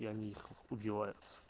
и они их убивают